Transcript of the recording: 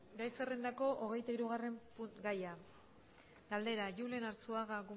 gai zerrendako hogeitahirugarren puntua galdera julen arzuaga